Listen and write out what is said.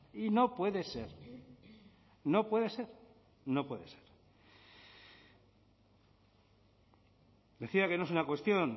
y no puede ser no puede ser no puede ser decía que no es una cuestión